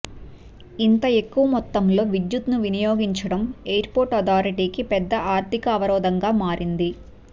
ఇంత ఎక్కువ మొత్తంలో విద్యుత్తుని వినియోగించడం ఎయిర్ పోర్ట్ అథారిటీకి పెద్ద ఆర్థిక అవరోధంగా మారింది